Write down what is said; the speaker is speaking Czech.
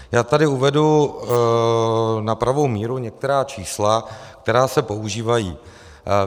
Já tady uvedu na pravou míru některá čísla, která se používají.